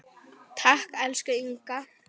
Takk, elsku Inga.